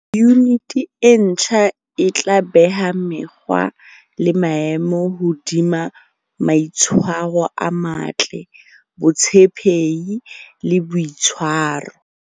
Yuniti e ntjha e tla beha mekgwa le maemo hodima maitshwaro a matle, botshepehi e boitshwaro.